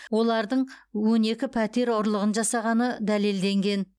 олардың он екі пәтер ұрлығын жасағаны дәлелденген